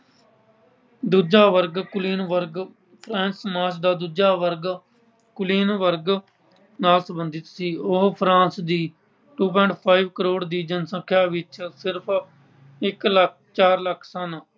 ਦੂਜਾ ਵਰਗ ਕੁਲੀਨ ਵਰਗ ਸਮਾਜ ਦਾ ਦੂਜਾ ਵਰਗ ਕੁਲੀਨ ਵਰਗ ਨਾਲ ਸਬੰਧਿਤ ਸੀ। ਉਹ France ਦੀ two point five crore ਦੀ ਜਨਸੰਖਿਆ ਵਿੱਚ ਸਿਰਫ ਇੱਕ ਲੱਖ ਅਹ ਚਾਰ ਲੱਖ ਸਨ।